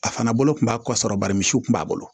A fana bolo kun b'a kɔsɔrɔ bari misiw kun b'a bolo